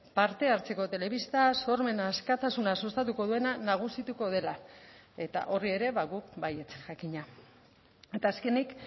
parte hartzeko telebista sormen askatasuna sustatuko duena nagusituko dela eta horri ere guk baietz jakina eta azkenik